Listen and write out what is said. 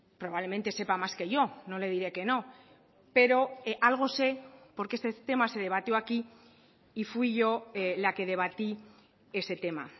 probablemente sepa más que yo no le diré que no pero algo sé porque este tema se debatió aquí y fui yo la que debatí ese tema